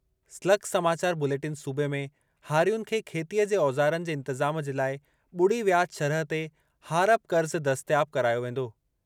स्लग-समाचार bulletin सूबे में हारियुनि खे खेतीअ जे औज़ारनि जे इंतिज़ाम जे लाइ ॿुड़ी वियाज शरह ते हारप क़र्ज़ दस्तियाब करायो वेंदो।